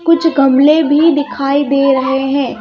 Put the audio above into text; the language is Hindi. कुछ गमले भी दिखाई दे रहे हैं.